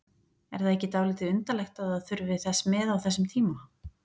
Er það ekki dálítið undarlegt að það þurfi þess með á þessum tíma?